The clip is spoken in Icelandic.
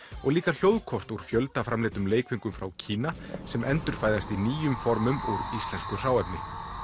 og líka hljóðkort úr fjöldaframleiddum leikföngum frá Kína sem endurfæðast í nýjum formum úr íslensku hráefni